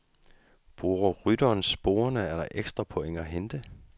Bruger rytteren sporer er der ekstra point at hente.